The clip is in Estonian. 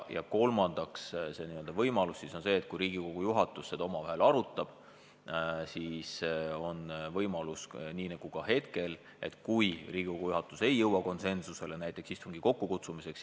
Ja kolmandaks, kui Riigikogu juhatus seda omavahel arutab, siis on võimalus, et Riigikogu juhatus ei jõua konsensusele istungi kokkukutsumise osas.